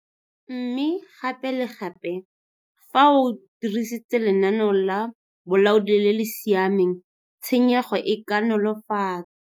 Mme gape le gape, fa o dirisitse lenaneo la bolaodi le le siameng tshenyego e ka nolofatswa.